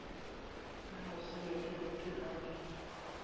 le mosenekeng ke ha di